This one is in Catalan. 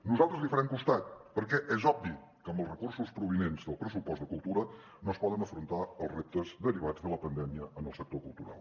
nosaltres li farem costat perquè és obvi que amb els recursos provinents del pressupost de cultura no es poden afrontar els reptes derivats de la pandèmia en el sector cultural